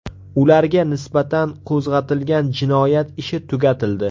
Ularga nisbatan qo‘zg‘atilgan jinoyat ishi tugatildi.